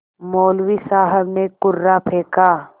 मौलवी साहब ने कुर्रा फेंका